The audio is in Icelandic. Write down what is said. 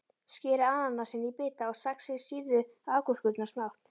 Skerið ananasinn í bita og saxið sýrðu agúrkurnar smátt.